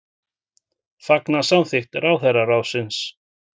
Fagna samþykkt ráðherraráðsins